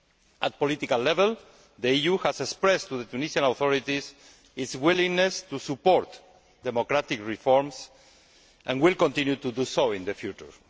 At the political level, the EU has expressed to the Tunisian authorities its willingness to support democratic reforms and will continue to do so in the future.